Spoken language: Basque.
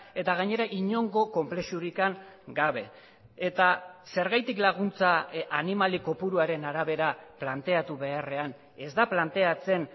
eta gainera inongo konplexurik gabe eta zergatik laguntza animali kopuruaren arabera planteatu beharrean ez da planteatzen